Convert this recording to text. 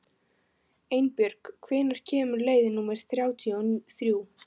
Einbjörg, hvenær kemur leið númer þrjátíu og þrjú?